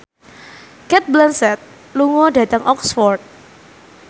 Cate Blanchett lunga dhateng Oxford